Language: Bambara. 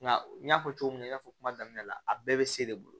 Nka n y'a fɔ cogo min na n y'a fɔ kuma daminɛ la a bɛɛ bɛ se de bolo